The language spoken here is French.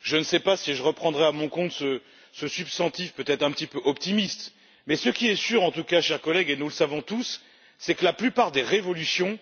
Je ne sais pas si je reprendrai à mon compte cette affirmation peut être un petit peu optimiste, mais ce qui est sûr en tout cas, chers collègues et nous le savons tous c'est que la plupart des révolutions